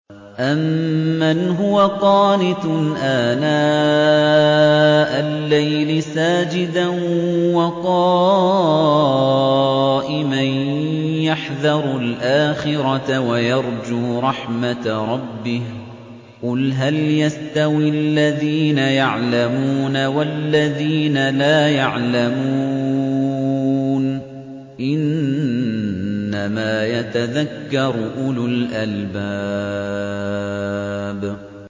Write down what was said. أَمَّنْ هُوَ قَانِتٌ آنَاءَ اللَّيْلِ سَاجِدًا وَقَائِمًا يَحْذَرُ الْآخِرَةَ وَيَرْجُو رَحْمَةَ رَبِّهِ ۗ قُلْ هَلْ يَسْتَوِي الَّذِينَ يَعْلَمُونَ وَالَّذِينَ لَا يَعْلَمُونَ ۗ إِنَّمَا يَتَذَكَّرُ أُولُو الْأَلْبَابِ